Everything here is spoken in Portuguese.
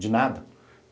de nada.